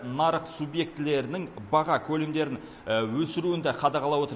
нарық субъектілерінің баға көлемдерін өсіруін де қадағалап отыр